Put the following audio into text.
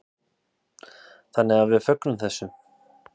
Þannig að við fögnum þessu.